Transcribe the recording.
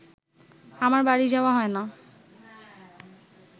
আমার বাড়ী যাওয়া হয় না